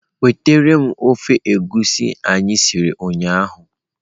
Wetara m ofe egusi anyị siri ụnyahụ!.